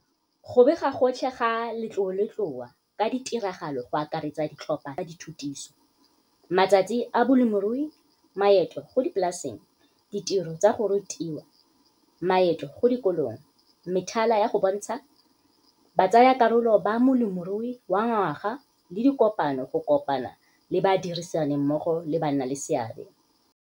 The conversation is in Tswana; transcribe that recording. Go bega gotlhe ga letloletloa ka ditiragalo go akaretsa ditlhopha tsa dithutiso, matsatsi a bolemirui, maeto go dipolaseng, ditiro tsa go rutiwa, maeto go dikolong, methala ya go bontsha, batsayakarolo ba molemirui wa ngwaga le dikopano go kopana le badirisanimmogo le bannaleseabe.